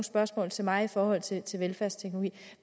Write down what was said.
spørgsmål til mig i forhold til til velfærdsteknologi